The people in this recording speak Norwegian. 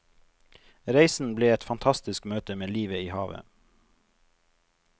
Reisen ble et fantasisk møte med livet i havet.